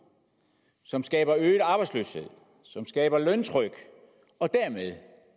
som skaber øget arbejdsløshed som skaber løntryk og dermed